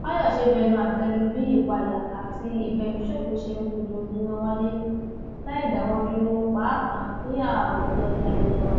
fàyọṣe bẹnu àtẹ lu bí ìpáyà àti ìfẹmíṣòfò ṣe ń fojoojúmọ wáyé láì dáwọ dúró pàápàá níhà òkèọyá ilé wa